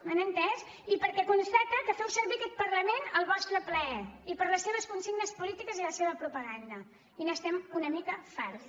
m’han entès i perquè constata que feu servir aquest parlament al vostre plaer i per a les seves consignes polítiques i la seva propaganda i n’estem una mica farts